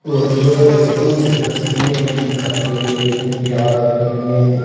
और दीवारों पर कुछ तस्वीरें भी दिखाई दे रही है। जिनपे आग लगे हुए हैं।